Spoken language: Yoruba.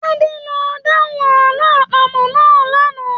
Tade ló dahùn àlọ àpamọ̀ náà l'ana.